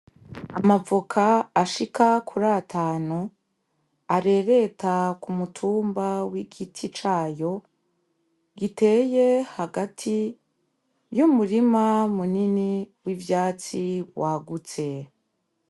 Amavoka ashika kiri atanu arereta ku mutumba w'igiti cayo giteye hagati y'umurima munini w'ivyatsi wagutse.